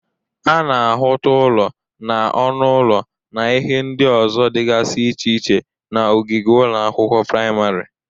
A na-ahụta ụlọ na ọnụ ụlọ na ihe ndị ọzọ dịgazị iche iche n'ogige ụlọ akwụkwọ prịmarị.